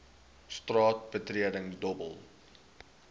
straat betreding dobbel